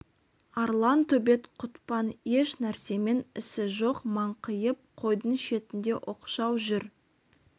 арлан төбет құтпан еш нәрсемен ісі жоқ маңқиып қойдың шетінде оқшау жүр